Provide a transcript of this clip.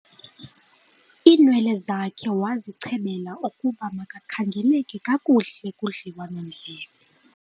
iinwele zakhe wazichebela ukuba makakhangeleke kakuhle kudliwanondlebe